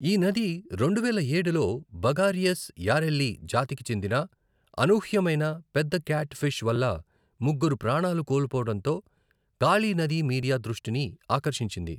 ఈ నది రెండువేల ఏడులో బగారియస్ యారెల్లి జాతికి చెందిన అనూహ్యమైన పెద్ద క్యాట్ ఫిష్ వల్ల ముగ్గురు ప్రాణాలు కోల్పోవడంతో కాళీ నది మీడియా దృష్టిని ఆకర్షించింది.